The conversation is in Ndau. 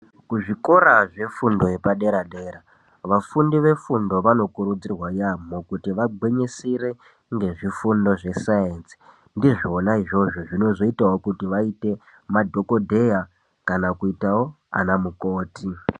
Kuzvikora zvefundo yepadera dera vafundi vefundo vanokurudzirwa yaambo kuti vagwinyisire ngezvifundo zvesayinsi ,ndizvona izvozvo zvinoitawo kuti vaite madhogodheya kana kuitawo ana mukoti.